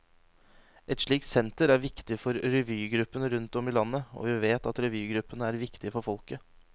Et slikt senter er viktig for revygruppene rundt om i landet, og vi vet at revygruppene er viktige for folket.